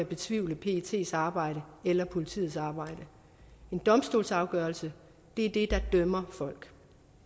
betvivle pets pets arbejde eller politiets arbejde en domstolsafgørelse er det der dømmer folk